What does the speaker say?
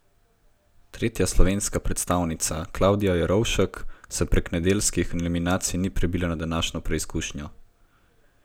Tretja slovenska predstavnica Klavdija Jerovšek se prek nedeljskih eliminacij ni prebila na današnjo preizkušnjo.